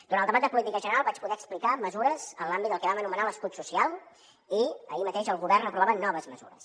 durant el debat de política general vaig poder explicar mesures en l’àmbit del que vam anomenar l’escut social i ahir mateix el govern aprovava noves mesures